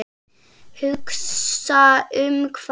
Hugsa um hvað?